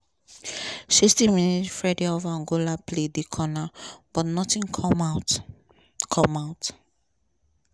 sixty minute fredy of angola play di corner but notin come out. come out.